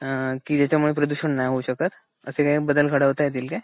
अ अ कि ज्याच्या मुळे प्रदूषण नाही होऊ शकत असे काही बदल घडवता येतील काय ?